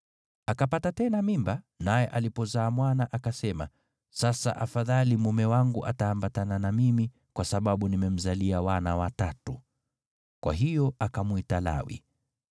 Akapata tena mimba, naye alipozaa mwana, akasema, “Sasa afadhali mume wangu ataambatana na mimi, kwa sababu nimemzalia wana watatu.” Kwa hiyo akamwita Lawi.